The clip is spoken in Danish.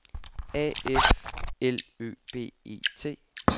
A F L Ø B E T